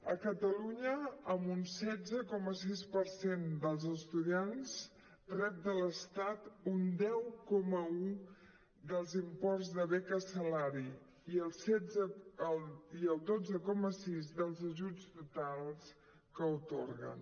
a catalunya un setze coma sis per cent dels estudiants rep de l’estat un deu coma un dels imports de beca salari i el dotze coma sis dels ajuts totals que atorguen